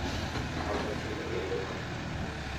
Kata timo lendo mar tho.